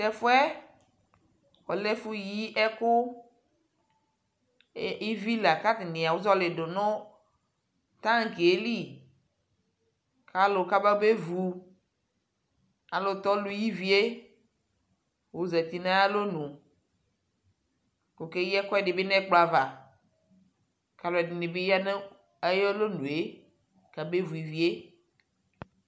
Tɛfu yɛ ɔlɛ ɛfuyi ɛkʋ Ivi la mʋ atani azɔlι dʋ nʋ tanki yɛ lι kalʋ kababevʋ ayʋɛlʋtɛ ɔlʋyi ivie ozati nʋ ayʋalonʋ kʋ okeyi ɛkuɛdι bι nʋ ɛkplɔ ava kʋ alʋɔdi ni bi ya nʋ ayʋ alonue kabevu ivie